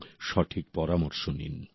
এবং সঠিক পরামর্শ নিন